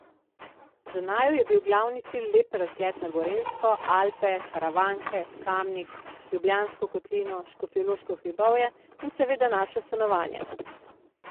Za naju je bil glavni cilj lep razgled na Gorenjsko, Alpe, Karavanke, Kamnik, Ljubljansko kotlino, Škofjeloško hribovje in seveda naše stanovanje.